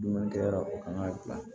Dumuni kɛ yɔrɔ la u kan ka gilan